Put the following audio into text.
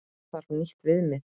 Þarf nýtt viðmið?